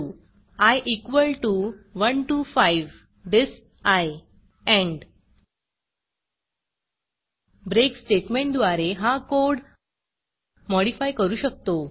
four i equal to 1 to 5 disp end break स्टेटमेंटद्वारे हा code modify करू शकतो